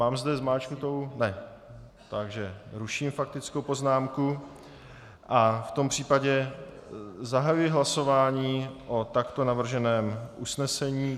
Mám zde zmáčknutou... ne, takže ruším faktickou poznámku a v tom případě zahajuji hlasování o takto navrženém usnesení.